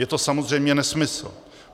Je to samozřejmě nesmysl.